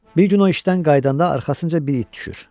Bir gün o işdən qayıdanda arxasınca bir it düşür.